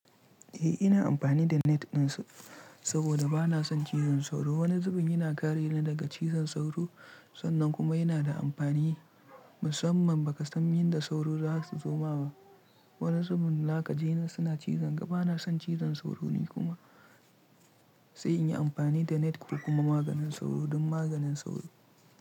Eh ina amfani da net ɗinsa saboda bana son cizon sauro. Wani zubin yana kare ni daga cizon sauro, sannan kuma yana da amfani musamman ba ka san yadda sauro za su zo ba. Wani zubin laka ji suna cizon ga bana son cizon sauro ni kuma sai in yi amfani da net ko kuma maganin sauro don maganin sauro.